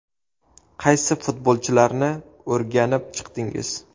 Qaysi futbolchilarni o‘rganib chiqdingiz?